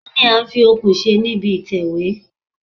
Kí ní a ń fi okùn ṣe níbi ìtẹ̀wẹ́?